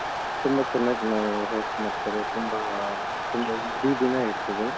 ತುಂಬಾ ಚೆನ್ನಾಗಿ host ಮಾಡ್ತಾರೆ. ತುಂಬಾ, ತುಂಬಾ ಇಡೀ ದಿನ ಇರ್ತದೆ.